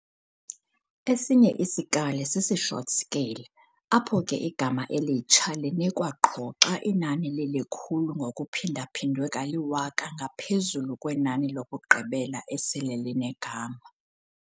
Esinye isikali sisi-"short scale" apho ke igama elitsha linikwa qho xa inani lilikhulu ngokuphindaphindwe kaliwaka ngaphezulu kwenani lokugqibela esele linegama.